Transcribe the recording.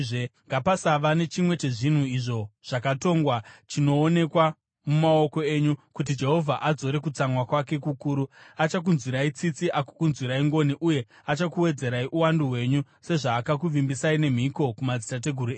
Ngapasava nechimwe chezvinhu izvo zvakatongwa chinoonekwa mumaoko enyu, kuti Jehovha adzore kutsamwa kwake kukuru; achakunzwirai tsitsi, agokunzwirai ngoni uye achakuwedzerai uwandu hwenyu, sezvaakakuvimbisai nemhiko kumadzitateguru enyu,